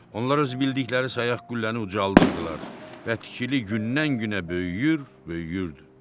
Onlar öz bildikləri sayaq qülləni ucaldırdılar və tikili gündən-günə böyüyür, böyüyürdü.